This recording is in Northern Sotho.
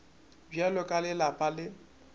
bja ka le lapa le